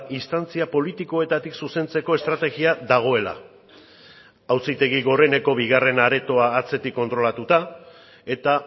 instantzia politikoetatik zuzentzeko estrategia dagoela auzitegi goreneko bigarren aretoa atzetik kontrolatuta eta